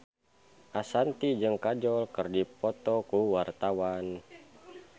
Ashanti jeung Kajol keur dipoto ku wartawan